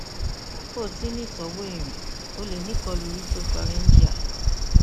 bi o ti n ni itọwo irin o le ni ikolu retropharyngeal